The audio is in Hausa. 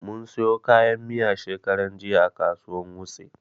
Mun siyo kayan miya shekaran jiya a kasuwan wuse